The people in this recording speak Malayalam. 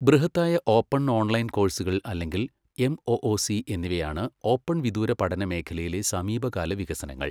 ബൃഹത്തായ ഓപ്പൺ ഓൺലൈൻ കോഴ്സുകൾ അല്ലെങ്കിൽ എംഒഒസി എന്നിവയാണ് ഓപ്പൺ വിദൂര പഠന മേഖലയിലെ സമീപകാല വികസനങ്ങൾ.